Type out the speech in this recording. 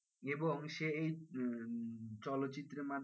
এবং সে এই উম চলচ্চিত্রের মাধ্যমে,